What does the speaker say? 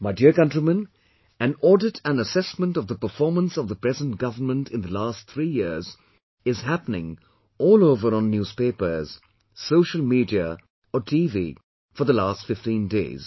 My dear countrymen, an audit and assessment of the performance of the present government in the last three years is happening all over on newspapers, social media or TV for the last 15 days